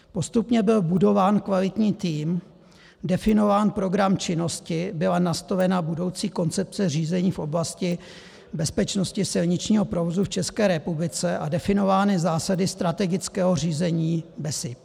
Postupně byl budován kvalitní tým, definován program činnosti, byla nastolena budoucí koncepce řízení v oblasti bezpečnosti silničního provozu v České republice a definovány zásady strategického řízení BESIP.